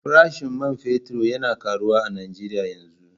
Farashin man fetur yana karuwa a Najeriya yanzu.